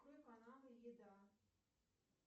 открой каналы еда